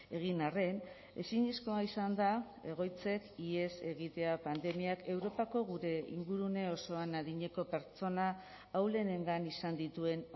egin arren ezinezkoa izan da egoitzek ihes egitea pandemiak europako gure ingurune osoan adineko pertsona ahulenengan izan dituen